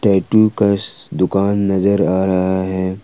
Tattoo का दुकान नजर आ रहा है ।